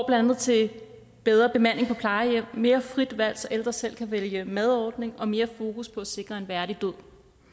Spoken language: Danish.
andet til bedre bemanding på plejehjemmene mere frit valg så ældre selv kan vælge madordninger og mere fokus på at sikre en værdig død